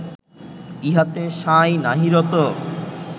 ইহাতে সাঁই নাহি রত